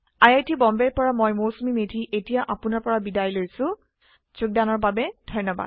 I I T বম্বেৰ পৰা মই মৌচুমী মেধী এতিয়া আপুনাৰ পৰা বিদায় লৈছো যোগদানৰ বাবে ধন্যবাদ